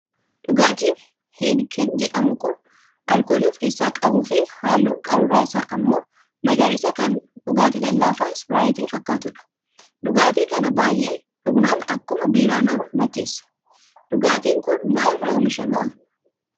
Dhugaatiin "Heineken" jedhamu kan alkoolii of keessaa qabuu fi halluun qaruuraa isaa immoo magariisa kan dhugaatii lallaafaa ispiraayitii fakkatudha. Dhugaatii kana baay'ee dhugnaan akkuma biiraa nama macheessa. Dhugaatiin kun maalirraa oomishama?